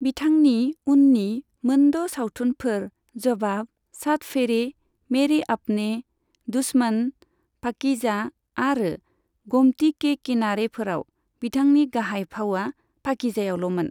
बिथांनि उन्नि मोन द' सावथुनफोर जवाब, सात फेरे, मेरे अपने, दुश्मन, पाकीजा आरो गोमती के किनारेफोराव बिथांनि गाहाय फावआ पाकीजायावल'मोन।